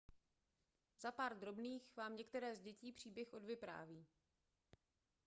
za pár drobných vám některé z dětí příběh odvypráví